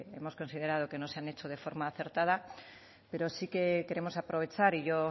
hemos considerado que no se han hecho de forma acertada pero sí que queremos aprovechar y yo